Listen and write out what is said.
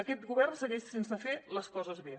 aquest govern segueix sense fer les coses bé